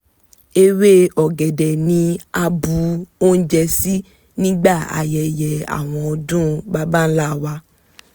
ewé ọ̀gẹ̀dẹ̀ ni a bu oúnjẹ sí nígbà ayẹyẹ àwọn ọdún baba ńlá wa